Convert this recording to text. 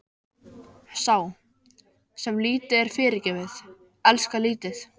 Sá, sem lítið er fyrirgefið, elskar lítið.